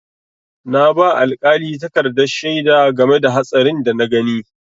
Na ba alƙali takardar shaida game da hatsarin da na gani.